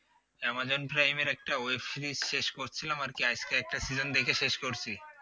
Amazon prime এর একটা web series শেষ করছিলাম আর কি আজকে একটা season দেখে শেষ করছি